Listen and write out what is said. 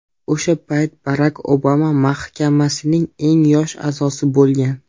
O‘sha payt Barak Obama mahkamasining eng yosh a’zosi bo‘lgan.